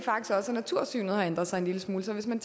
natursynet har ændret sig en lille smule så hvis man